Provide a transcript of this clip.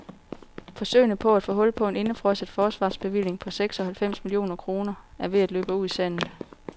Forsøgene på at få hul på en indefrosset forsvarsbevilling på seks og halvfems millioner kroner er ved at løbe ud i sandet.